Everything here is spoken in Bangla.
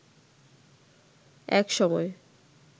এক সময়